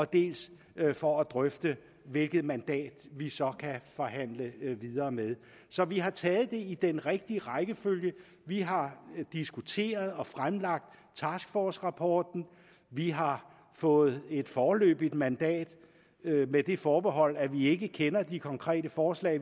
dels for at drøfte hvilket mandat vi så kan forhandle videre med så vi har taget det i den rigtige rækkefølge vi har diskuteret og fremlagt taskforcerapporten vi har fået et foreløbigt mandat med det forbehold at vi ikke kender de konkrete forslag